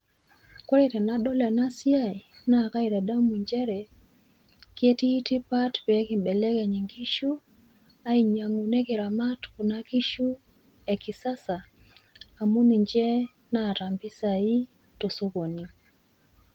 Kore tenadol enasiai naa kaitadamu nchere ketii tipat pee kimbelekeny inkishu ainyang'u nekiramat inkishu e kisasa amu ninche naata mpisai tosokoni.